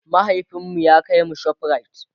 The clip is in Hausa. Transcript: mahaifinmu ya kaimu shoprite